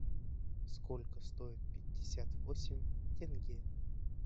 сколько стоит пятьдесят восемь тенге